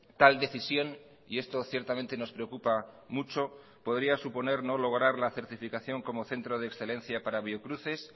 tal decisión y esto ciertamente nos preocupa mucho podría suponer no lograr la certificación como centro de excelencia para biocruces